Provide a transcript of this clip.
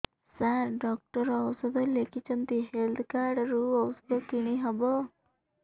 ସାର doctor ଔଷଧ ଲେଖିଛନ୍ତି health card ରୁ ଔଷଧ କିଣି ହେବ